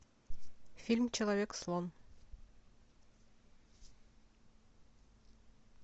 фильм человек слон